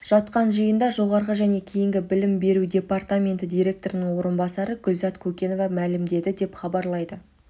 жатқан жиында жоғары және кейінгі білім беру департаменті директорының орынбасары гүлзат көкенова мәлімдеді деп іабарлайды